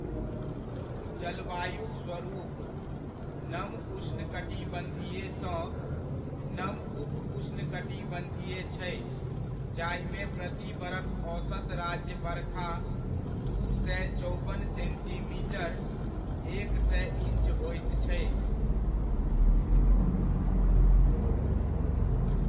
जलवायुक स्वरूप, नम उष्णकटिबन्धीयसँ नम उप उष्णकटिबन्धीय छै, जाहिमे प्रति बरख औसत राज्य बरखा दू सए चौबन सेन्टीमीटर, एक सए ईञ्च होइत छै।